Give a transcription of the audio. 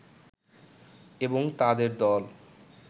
এবং তাঁদের দল